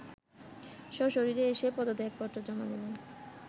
সশরীরে এসে পদত্যাপত্র জমা দিলে